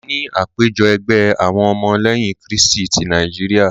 A ní àpéjọ ẹgbẹ́ àwọn ọmọ lẹ́yìn krístì tí Nàíjíríà.